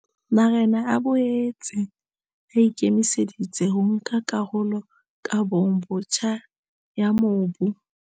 Marena a boetse a ikemise ditse ho nka karolo kabong botjha ya mobu.